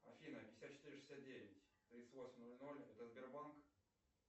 афина пятьдесят четыре шестьдесят девять тридцать восемь ноль ноль это сбербанк